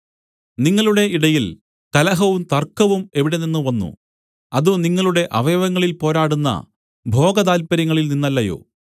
നിങ്ങളുടെ ഇടയിൽ കലഹവും തർക്കവും എവിടെനിന്ന് വന്നു അത് നിങ്ങളുടെ അവയവങ്ങളിൽ പോരാടുന്ന ഭോഗതാല്പര്യങ്ങളിൽ നിന്നല്ലയോ